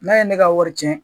N'a ye ne ka wari tiɲɛ.